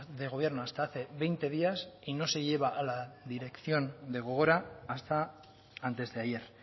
de gobierno hasta hace veinte días y no se lleva a la dirección de gogora hasta antes de ayer